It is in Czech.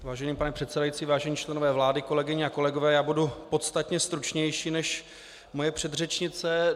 Vážený pane předsedající, vážení členové vlády, kolegyně a kolegové, já budu podstatně stručnější než moje předřečnice.